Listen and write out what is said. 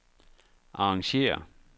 arrangér